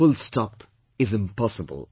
A fullstop is impossible